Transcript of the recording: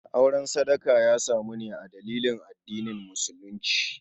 Auren sadaka ya samu ne a dalilin addinin musulunci.